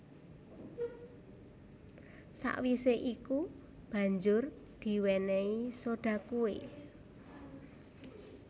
Sawisé iku banjur diwénéhi soda kué